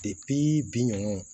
bi nunnu